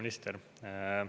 Kaitseminister!